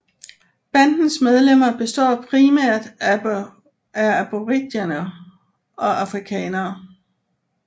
Bandens medlemmer består primært af Aboriginere og Afrikanere